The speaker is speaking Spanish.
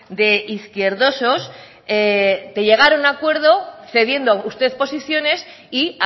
de izquierdosos de llegar a un acuerdo cediendo usted posiciones y